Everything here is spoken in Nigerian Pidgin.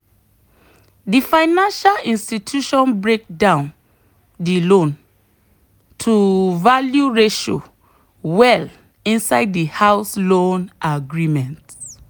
the financial institution break down the loan-to-value ratio well inside the house loan agreement.